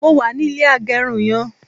mo wà ni ilé agerun yen